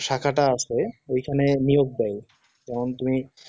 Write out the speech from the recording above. শাখাটা আছে ঐখানে নিয়োগ করে কারণ তুমি